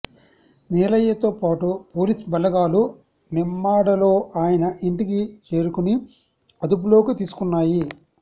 నీలయ్యతో పాటు పోలీస్ బలగాలు నిమ్మాడలో ఆయన ఇంటికి చేరుకుని అదుపులోకి తీసుకున్నాయి